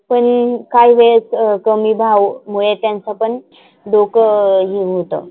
पण काही वेळेस कमी भाव मुले त्यांचा पण डोक हे होतं.